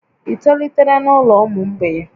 Ị tolitere n'ụlọ ụmụ mgbei?